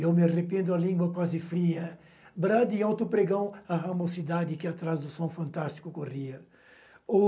Eu me arrependo, a língua quase fria, Brado e alto pregão, a ramocidade Que atrás do som fantástico corria.